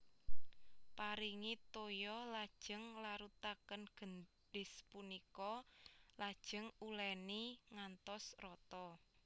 Paringi toya lajeng larutaken gendhis punika lajeng uléni ngantos rata